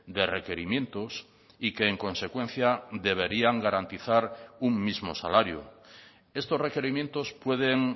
de requerimientos y que en consecuencia deberían garantizar un mismo salario estos requerimientos pueden